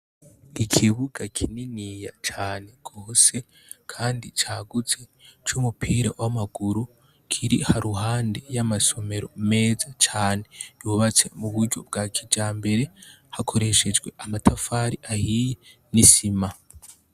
Ikibuga kininiya cane gose kandi cagutse cumupira wamaguru kiri haruhande yama somero meza yubatse muburyo bwa kijambere hakoreshejwe amatafari ahayi nisima